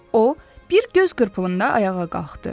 O bir göz qırpımında ayağa qalxdı.